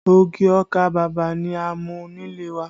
Ogi ọkà bàbà ni a ń mú nílé wa